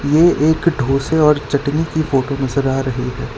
ये एक ढोसे और चटनी की फोटो नजर आ रही है।